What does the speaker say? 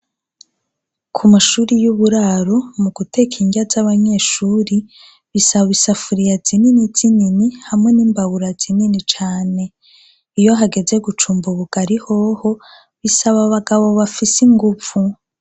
Ku mashuri y'uburaro, mu guteka indya z'abanyeshuri, bisaba isafuriya zinini zinini hamwe n'imbabura zinini cane. Iyo hageze gucumba ubugari hoho bisaba abagabo bafise inguvu.